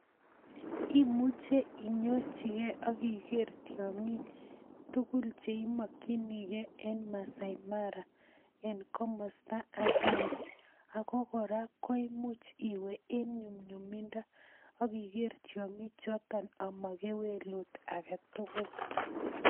Imuche inyorchikee ak Iker tiong'ik tukul cheimokyinikee en Masai Mara en komosto akeng'e ak ko kora imuch iwee en nyumnyumindo ak iker tiong'ik choton amakewelut aketukul.